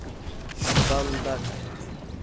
мбандака